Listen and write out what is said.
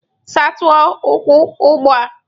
Saa ute ụkwụ ugbu a!